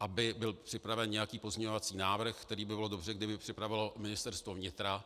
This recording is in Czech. aby byl připraven nějaký pozměňovací návrh, který by bylo dobře, kdyby připravilo Ministerstvo vnitra.